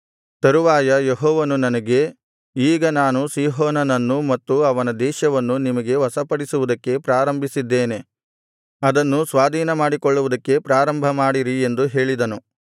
ತರುವಾಯ ಯೆಹೋವನು ನನಗೆ ಈಗ ನಾನು ಸೀಹೋನನನ್ನೂ ಮತ್ತು ಅವನ ದೇಶವನ್ನೂ ನಿಮಗೆ ವಶಪಡಿಸುವುದಕ್ಕೆ ಪ್ರಾರಂಭಿಸಿದ್ದೇನೆ ಅದನ್ನು ಸ್ವಾಧೀನಮಾಡಿಕೊಳ್ಳುವುದಕ್ಕೆ ಪ್ರಾರಂಭಮಾಡಿರಿ ಎಂದು ಹೇಳಿದನು